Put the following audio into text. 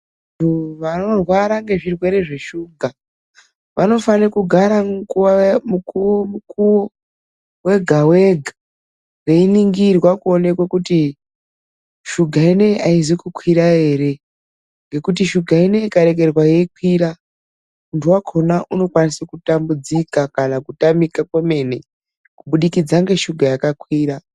Vanorwara ngezvirwere zveshuga, vanofanira kugara mukuwo, mukuwo wega-wega veiningirwa kuonekwe kuti shuga ineyi aizi kukwira ere. Ngekuti shuga ineyi ikarekerwa yeikwira, munthu wakhona unokwanisa kutambudzika, kana kutamika kwemene. Kubudikidza ngeshuga yakakwira.